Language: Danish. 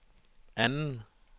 anden